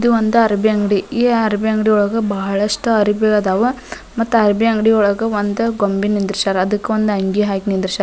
ದು ಒಂದು ಅರ್ಬಿ ಅಂಗ್ಡಿ ಈ ಅರ್ಬಿ ಅಂಗ್ಡಿ ಒಳ್ಗ ಭಾಳಷ್ಟು ಅರ್ಬಿ ಅದವ ಮತ್ತ ಅರ್ಬಿ ಅಂಗ್ಡಿ ಒಳ್ಗ ಒಂದು ಗೊಂಬಿ ನಿಂದಿರ್ಶಾರ ಅದಕ್ಕ್ ಒಂದ್ ಅಂಗಿ ಹಾಕಿ ನಿಂದಿರ್ಶ --